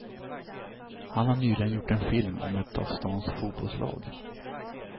Han har nyligen gjort en film om ett av stans fotbollslag.